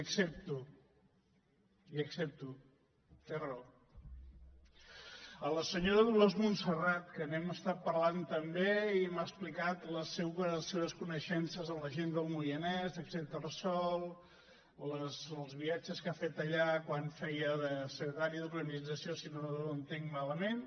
a la senyora dolors montserrat que n’hem estat parlant també i m’ha explicat les seves coneixences de la gent del moianès castellterçol els viatges que ha fet allà quan feia de secretària d’organització si no ho entenc malament